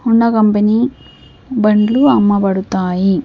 Honda company బండ్లు అమ్మబడుతాయి.